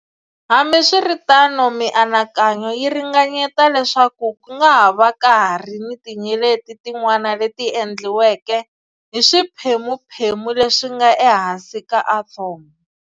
Hambiswiritano, mianakanyo yi ringanyeta leswaku ku nga ha va ka ha ri ni tinyeleti tin'wana leti endliweke hi swiphemuphemu leswi nga ehansi ka athomo.